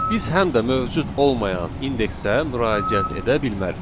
Biz həm də mövcud olmayan indeksə müraciət edə bilmərik.